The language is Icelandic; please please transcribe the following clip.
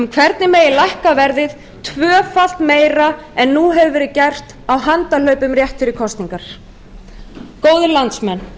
hvernig megi lækka verðið tvöfalt meira en nú hefur verið gert á handahlaupum rétt fyrir kosningar góðir landsmenn